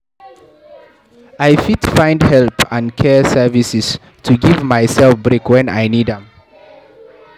I fit find help and care services to give myself break wen I need am.